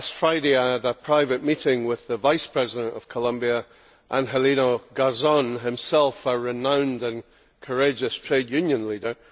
Last Friday I had a private meeting with the Vice President of Colombia, Angelino Garzón, himself a renowned and courageous trade union leader.